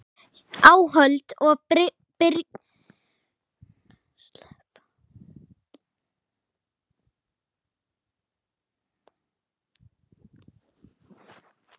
Áhöld og birgðir